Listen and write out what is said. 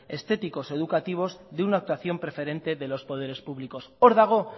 estéticos o educativos de una actuación preferente de los poderes públicos hor dago